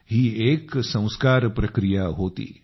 ही एक संस्कार प्रक्रिया होती